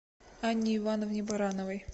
анне ивановне барановой